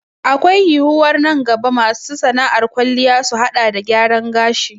Akwai yiwuwar nan gaba masu sana'ar kwalliya su haɗa da gyaran gashi